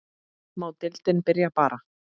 Má deildin byrja bara?